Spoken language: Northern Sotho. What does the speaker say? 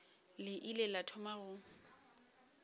le ile la thoma go